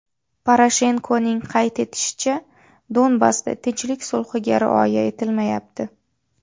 Poroshenkoning qayd etishicha, Donbassda tinchlik sulhiga rioya etilmayapti.